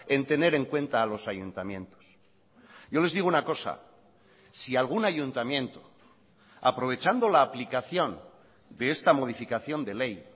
en tener en cuenta a los ayuntamientos yo les digo una cosa si algún ayuntamiento aprovechando la aplicación de esta modificación de ley